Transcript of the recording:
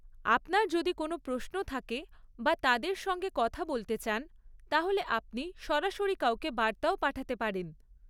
আপনার যদি কোনো প্রশ্ন থাকে বা তাদের সঙ্গে কথা বলতে চান, তাহলে আপনি সরাসরি কাউকে বার্তাও পাঠাতে পারেন।